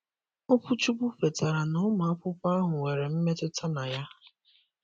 Okwuchukwu kwetara na ụmụ akwụkwọ ahụ nwere mmetụta na ya